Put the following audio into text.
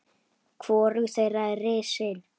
Hvorug þeirra er risin.